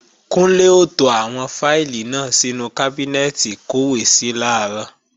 Kúnlé ó to àwọn fáìlì náà sínú kábínẹ́ẹ̀tì ìkọ́wèésí làárọ̀